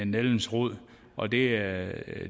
nældens rod og det er